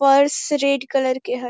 Purse red colour के हेय।